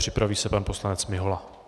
Připraví se pan poslanec Mihola.